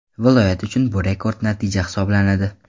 Viloyat uchun bu rekord natija hisoblanadi.